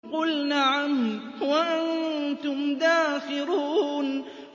قُلْ نَعَمْ وَأَنتُمْ دَاخِرُونَ